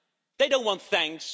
They don't want thanks.